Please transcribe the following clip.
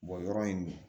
yɔrɔ in dun